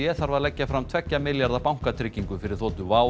þarf að leggja fram tveggja milljarða bankatryggingu fyrir þotu WOW